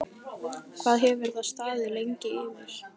Hvað hefur það staðið lengi yfir?